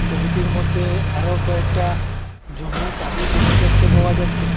ছবিটির মধ্যে আরো কয়েকটা জমি কালি জমি দেখতে পাওয়া যাচ্ছে।